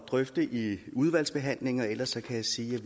drøfte i udvalgsbehandlingen og ellers kan jeg sige